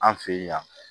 An fɛ yen yan